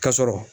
Ka sɔrɔ